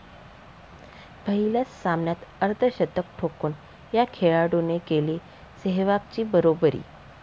पहिल्याच सामन्यात अर्धशतक ठोकून या खेळाडूने केली सेहवागची बरोबरी